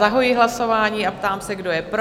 Zahajuji hlasování a ptám se, kdo je pro?